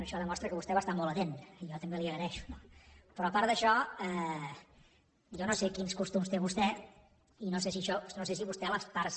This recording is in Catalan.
això demostra que vostè va estar molt atent i jo també li ho agraeixo no però a part d’això jo no sé quins costums té vostè i no sé si vostè les parts